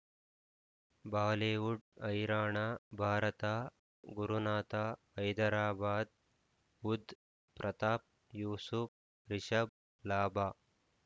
Bollywood Haryana Bharat Gurunath Hyderabad Budh Pratap ಯೂಸು ರಿಷಬ್ ಲಾಭ